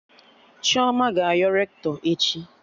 Chioma ga-ayọ Rektọ echi